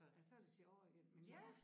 Ja så det sjovere igen men ja